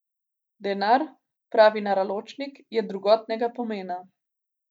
Denar, pravi Naraločnik, je drugotnega pomena.